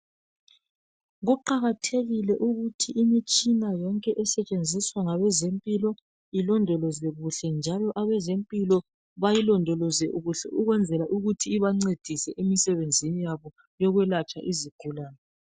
Kuqakathekile ukuthi imitshina yonke esetshenziswa ngabezempilo ilondolozwe kuhle njalo abezempilo bayilondoloze kuhle ukwenzela ukuthi ibancedise emsebenzini yabo yokwelatshwa izigulane